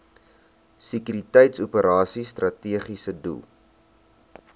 sekuriteitsoperasies strategiese doel